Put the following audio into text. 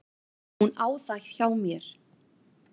Hún á það hjá mér.